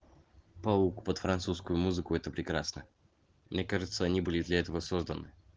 паук под французскую музыку это прекрасно мне кажется они были для этого созданы